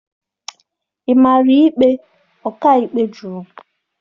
Ị mara ikpe, ọkàikpe jụrụ